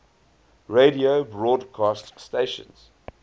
radio broadcast stations